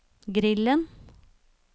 grillen